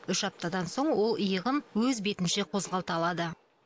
үш аптадан соң ол иығын өз бетінше қозғалта алады